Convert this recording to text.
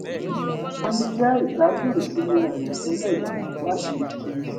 mò ń jẹ ìgbádùn ìsinmi àìrò tẹ́lẹ̀ yìí láti ṣe